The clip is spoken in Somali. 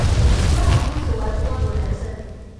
Furaha guusha waa rikoor wanaagsan.